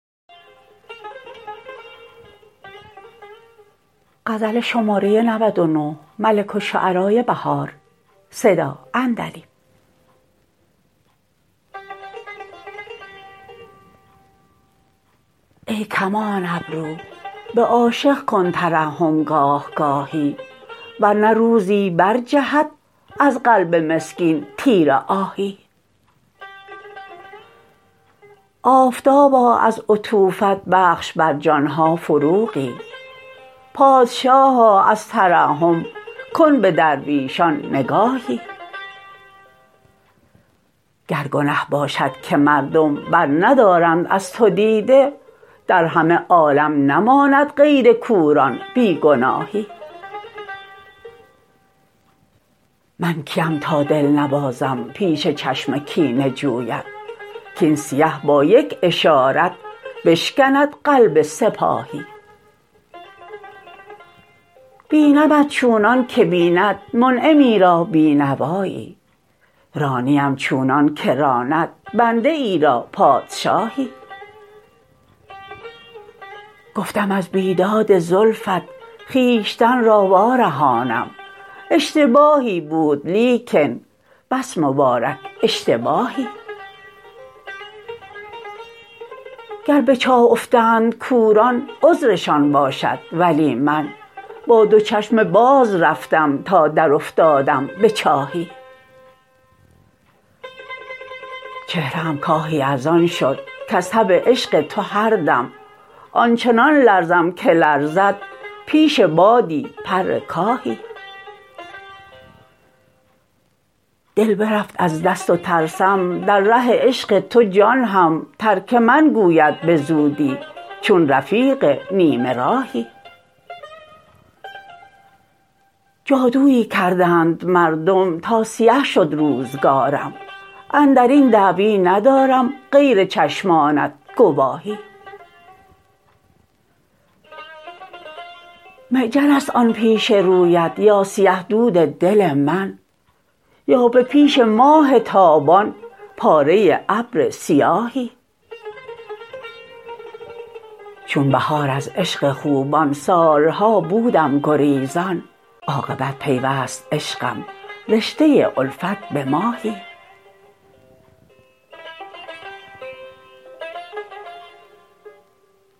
ای کمان ابرو به عاشق کن ترحم گاه گاهی ور نه روزی بر جهد از قلب مسکین تیر آهی آفتابا از عطوفت بخش بر جان ها فروغی پادشاها از ترحم کن به درویشان نگاهی گر گنه باشد که مردم برندارند از تو دیده در همه عالم نماند غیر کوران بیگناهی من کی ام تا دل نبازم پیش چشم کینه جویت کاین سیه با یک اشارت بشکند قلب سپاهی بینمت چونان که بیند منعمی را بینوایی رانی ام چونان که راند بنده ای را پادشاهی گفتم از بیداد زلفت خویشتن را وارهانم اشتباهی بود لیکن بس مبارک اشتباهی گر به چاه افتند کوران عذرشان باشد ولی من با دو چشم باز رفتم تا درافتادم به چاهی چهره ام کاهی از آن شد کز تب عشق تو هر دم آنچنان لرزم که لرزد پیش بادی پر کاهی دل برفت از دست و ترسم در ره عشق تو جان هم ترک من گوید بزودی چون رفیق نیمه راهی جادویی کردند مردم تا سیه شد روزگارم اندرین دعوی ندارم غیر چشمانت گواهی معجر است آن پیش رویت یا سیه دود دل من یا به پیش ماه تابان پاره ابر سیاهی چون بهار از عشق خوبان سال ها بودم گریزان عاقبت پیوست عشقم رشته الفت به ماهی